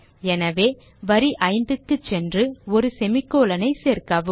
எனவே வரி 5 க்கு சென்று ஒரு semicolon ஐ சேர்க்கவும்